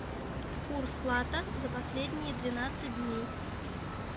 курс лата за последние двенадцать дней